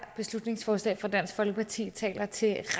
beslutningsforslag fra dansk folkeparti taler til